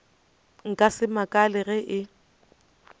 nka se makale ge e